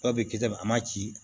Dɔw bɛ kisɛ a ma ci